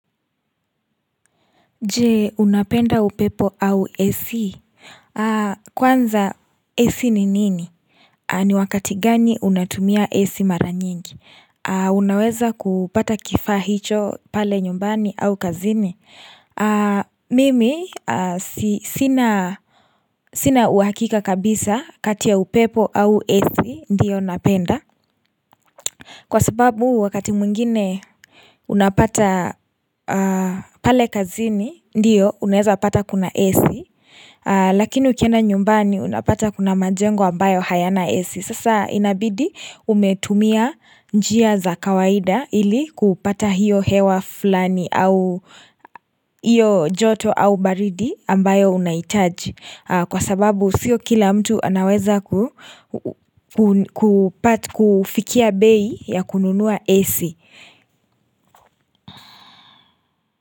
Je unapenda upepo au AC? Kwanza Ac ni nini? Ni wakati gani unatumia AC mara nyingi? Unaweza kupata kifaa hicho pale nyumbani au kazini? Mimi sina sina uhakika kabisa kati ya upepo au AC ndiyo napenda. Kwa sababu wakati mwingine unapata pale kazini ndiyo unaeza pata kuna AC Lakini ukienda nyumbani unapata kuna majengo ambayo hayana AC Sasa inabidi umetumia njia za kawaida ili kupata hiyo hewa fulani au hiyo joto au baridi ambayo unahitaji kwa sababu sio kila mtu anaweza ku kufikia bei ya kununua AC.